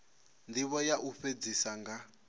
ndivho ya u fhedzisa nga